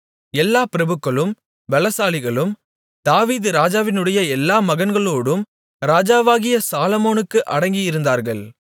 எல்லா பிரபுக்களும் பெலசாலிகளும் தாவீது ராஜாவினுடைய எல்லா மகன்களோடும் ராஜாவாகிய சாலொமோனுக்கு அடங்கியிருந்தார்கள்